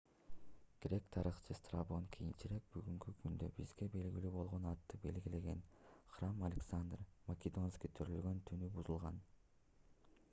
грек тарыхчысы страбон кийинчерээк бүгүнкү күндө бизге белгилүү болгон атты белгилеген храм александр македонский төрөлгөн түнү бузулган